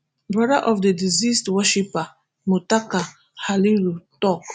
brother of di deceased worshipper muttaka halliru tok